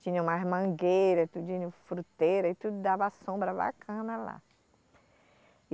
Tinha umas mangueiras, tudinho fruteira e tudo dava sombra bacana lá.